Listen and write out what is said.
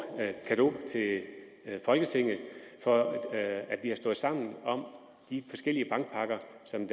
cadeau til folketinget for at vi har stået sammen om de forskellige bankpakker som